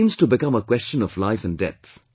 It seems to become a question of life and death